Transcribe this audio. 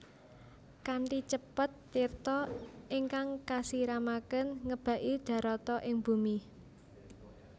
Kanthi cepet tirta ingkang kasiramaken ngebaki darata ing bumi